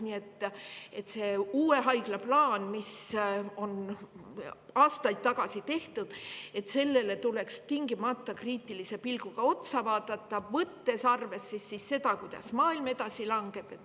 Nii et sellele uue haigla plaanile, mis on aastaid tagasi tehtud, tuleks tingimata kriitilise pilguga otsa vaadata, võttes arvesse seda, kuidas maailm.